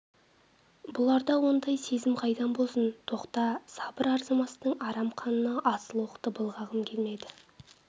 бұларда ондай сезім қайдан болсын тоқта сабыр арзымастың арам қанына асыл оқты былғағым келмеді